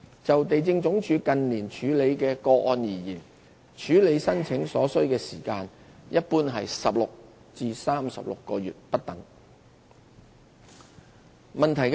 就地政總署近年處理的個案而言，處理申請所需時間一般約為16至36個月不等。